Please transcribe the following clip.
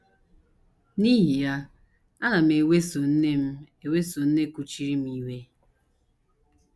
N’ihi ya, ana m eweso nne m eweso nne kuchiri m iwe.